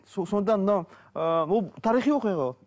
сонда мынау ыыы ол тарихи оқиға ғой